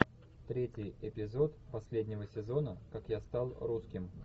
третий эпизод последнего сезона как я стал русским